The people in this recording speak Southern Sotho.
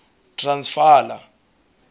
transvala